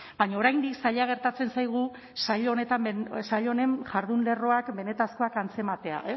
baina oraindik zaila gertatzen zaigu saio honen jardun lerroak benetakoak antzematea